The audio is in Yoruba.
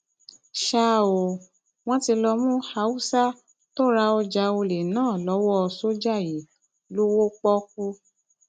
ṣá ò wọn ti lọọ mú haúsá tó ra ọjà ọlẹ náà lọwọ sójà yìí lọwọ pọọkú